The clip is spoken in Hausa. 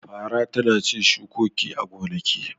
Fara tana cin shukoki a gonaki.